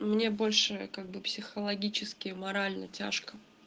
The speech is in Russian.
мне больше как бы психологически и морально тяжко